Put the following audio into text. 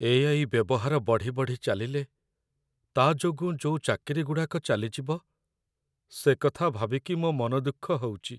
AI. ବ୍ୟବହାର ବଢ଼ି ବଢ଼ି ଚାଲିଲେ, ତା' ଯୋଗୁଁ ଯୋଉ ଚାକିରିଗୁଡ଼ାକ ଚାଲିଯିବ, ସେକଥା ଭାବିକି ମୋ' ମନଦୁଃଖ ହଉଚି ।